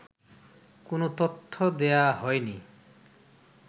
কোন তথ্য দেয়া হয়নি